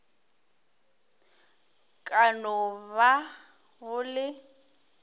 ka no ba go le